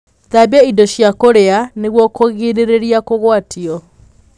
Thambia indo cia kũrĩa nĩguo kũgiririra kũgwatio